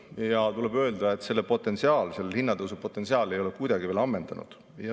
Ja tuleb öelda, et selle hinnatõusu potentsiaal ei ole kuidagi veel ammendunud.